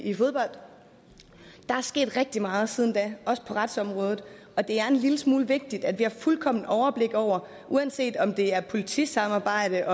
i fodbold der er sket rigtig meget siden da også på retsområdet og det er en lille smule vigtigt at vi har fuldkommen overblik over uanset om det er politisamarbejde